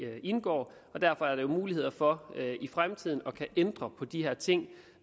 indgår og derfor er der mulighed for i fremtiden at kunne ændre på de her ting